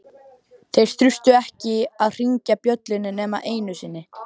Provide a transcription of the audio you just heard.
Þeir þurftu ekki að hringja bjöllunni nema einu sinni.